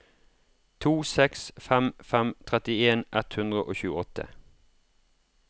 to seks fem fem trettien ett hundre og tjueåtte